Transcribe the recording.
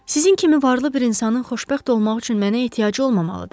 Sizin kimi varlı bir insanın xoşbəxt olmaq üçün mənə ehtiyacı olmamalıdır.